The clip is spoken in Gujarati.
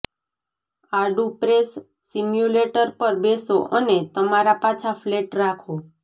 આડું પ્રેસ સિમ્યુલેટર પર બેસો અને તમારા પાછા ફ્લેટ રાખો